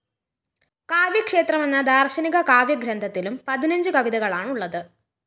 കാവ്യക്ഷേത്രം എന്ന ദാര്‍ശനിക കാവ്യഗ്രന്ഥത്തിലും പതിനഞ്ചുകവിതകളാണുള്ളത്